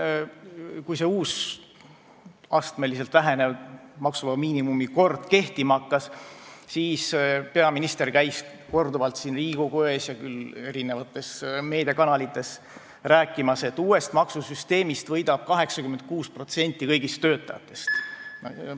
Kui see uus astmeliselt vähenev maksuvaba miinimumi kord kehtima hakkas, siis peaminister käis korduvalt küll siin Riigikogu ees ja ka mitmes meediakanalis rääkimas, et uuest maksusüsteemist võidab 86% kõigist töötajatest.